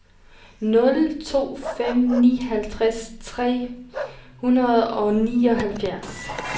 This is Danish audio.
nul to fem ni halvtreds tre hundrede og nioghalvtreds